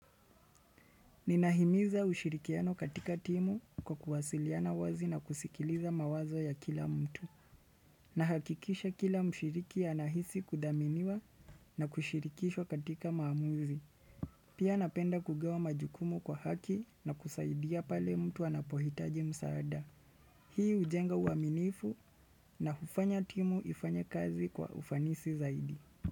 Ninahimiza ushirikiano katika timu kwa kuwasiliana wazi na kusikiliza mawazo ya kila mtu. Nahakikisha kila mshiriki anahisi kudhaminiwa na kushirikishwa katika maamuzi. Pia napenda kugawa majukumu kwa haki na kusaidia pale mtu anapohitaji msaada. Hii hujenga uaminifu na hufanya timu ifanye kazi kwa ufanisi zaidi.